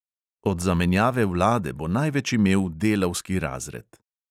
Od zamenjave vlade bo največ imel delavski razred.